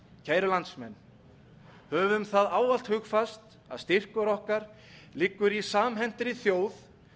kæru landsmenn höfum það ávallt hugfast að styrkur okkar liggur í samhentri þjóð